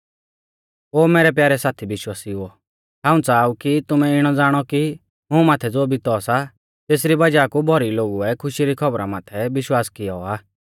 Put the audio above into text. ओ मैरै प्यारै साथी विश्वासिउओ हाऊं च़ाहा ऊ कि तुमै इणौ ज़ाणौ कि मुं माथै ज़ो बितौ सा तेसरी वज़ाह कु भौरी लोगुऐ खुशी री खौबरी माथै विश्वास कियौ आ